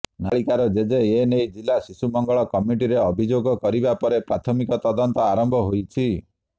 ନାବାଳିକାର ଜେଜେ ଏନେଇ ଜିଲା ଶିଶୁ ମଙ୍ଗଳ କମିଟିରେ ଅଭିଯୋଗ କରିବା ପରେ ପ୍ରାଥମିକ ତଦନ୍ତ ଆରମ୍ଭ ହୋଇଛି